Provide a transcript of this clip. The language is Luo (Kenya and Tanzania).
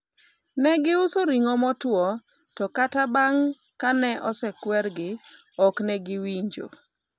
ne giuso ring'o motow to kata bang' kane osekwergi, ok ne giwinjo